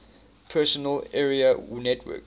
personal area network